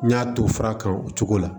N y'a to fura kan o cogo la